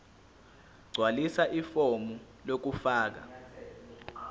gqwalisa ifomu lokufaka